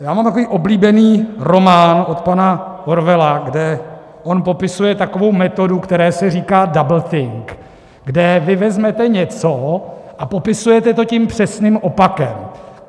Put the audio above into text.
Já mám takový oblíbený román od pana Orwella, kde on popisuje takovou metodu, které se říká doublethink, kde vy vezmete něco a popisujete to tím přesným opakem.